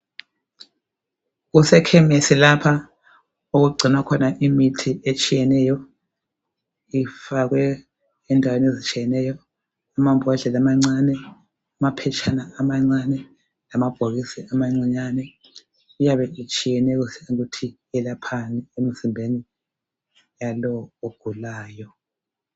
Kusekemesi lapha okugcinwa khona imithi etshiyeneyo ifakwe endaweni ezitshiyeneyo amambodlela amancane amaphetshana amancane lamabhokisi amancinyane iyabe itshiyane ukuthi yelaphani emzimbeni walowo ogulayo .